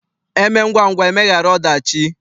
E mee ngwangwa emeghara ọdachi.